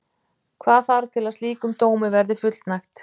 Hvað þarf til að slíkum dómi verði fullnægt?